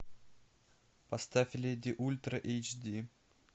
поставь леди ультра эйч ди